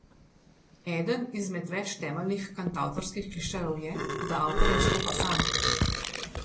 Eden izmed več temeljnih kantavtorskih klišejev je, da avtor nastopa sam.